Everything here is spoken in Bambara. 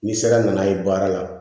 Ni sera nana ye baara la